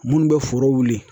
Munnu bɛ foro wuli